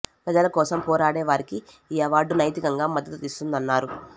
ప్రజల కోసం పోరాడే వారికి ఈ అవార్డు నైతికంగా మద్దతు ఇస్తుందన్నారు